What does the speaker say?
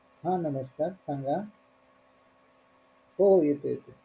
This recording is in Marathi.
हा नमस्कार सांगा हो येतोय येतोय.